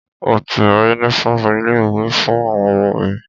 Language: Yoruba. Mo ti ra yúnífọ̀ọmù ilé ìwé fún àwọn ọmọ mi.